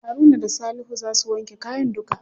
Haruna da salihu za su wanke kayan duka.